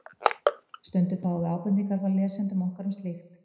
Stundum fáum við ábendingar frá lesendum okkar um slíkt.